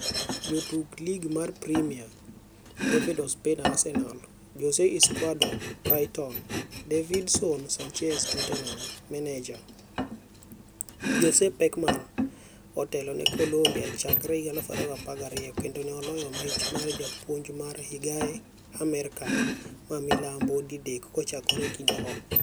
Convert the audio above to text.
Jotuk Lig mar Premia: David Ospina (Arsenal), Jose Izquierdo (Brighton), Davinson Sanchez (Tottenham) Maneja: Jose Pekerman otelo ne Colombiachakre 2012 kendo ne oloyo mich mar japuonj mar higae Amerka ma milambo didek kochakore kinde go.